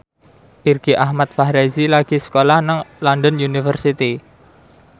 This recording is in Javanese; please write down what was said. Irgi Ahmad Fahrezi lagi sekolah nang London University